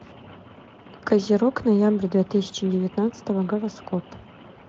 козерог ноябрь две тысячи девятнадцатого гороскоп